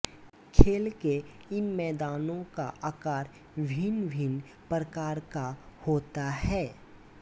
खेल के इन मैदानों का आकार भिन्नभिन्न प्रकार का होता है